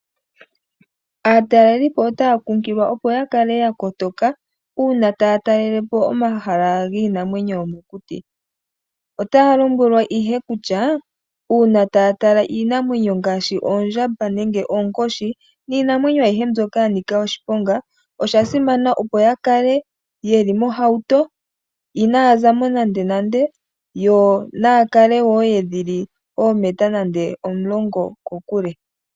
Aatalelipo otaa kunkililwa opo ya kale yakotoka uuna taa talelepo omahala giinamwenyo yomokuti. Otaa lombwelwa ihe kutya, uuna taa tala iinamwenyo ngaashi oondjamba nenge oonkoshi niinamwenyo aihe mboka yanika oshiponga, osha simana opo yakale yeli mohauto, inaya zamo nandenande . Yo naakale woo yeli dhili oometa dhili nande omulongo kokule.